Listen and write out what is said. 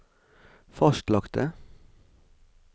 fastlagte